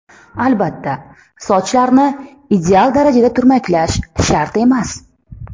Albatta, sochlarni ideal darajada turmaklash shart emas.